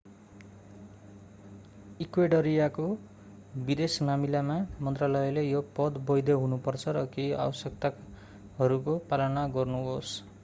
इक्वेडरियाको विदेश मामिला मन्त्रालयले यो पत्र वैध हुनु पर्छ र केहि आवश्यकताहरूको पालना गर्नुहोस्